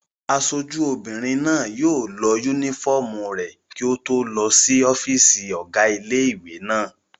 Aṣojú obìnrin náà yóò lọ yúnífọ́ọ̀mù rẹ̀ kí ó tó lọ sí ọ́fìsì ọ̀gá ilé-ìwé náà